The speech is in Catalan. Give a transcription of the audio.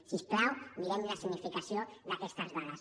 si us plau mirem la significació d’aquestes dades